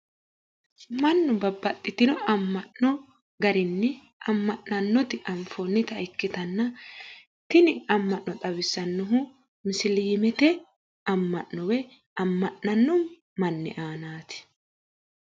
Mannu babbaxxino amma'no garinni amma'nannoti anfoonnita ikkitanna tini amma'no xawissannohu musiliimete amma'no amma'ninno manni anaati.